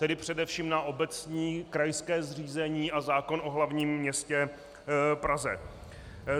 Tedy především na obecní, krajské zřízení a zákon o hlavním městě Praze.